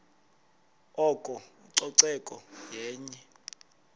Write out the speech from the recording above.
oko ucoceko yenye